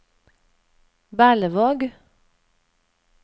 Berlevåg